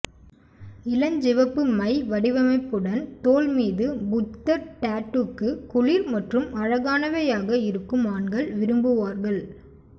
இளஞ்சிவப்பு மை வடிவமைப்புடன் தோள் மீது புத்தர் டாட்டூக்கு குளிர் மற்றும் அழகானவையாக இருக்கும் ஆண்கள் விரும்புவார்கள்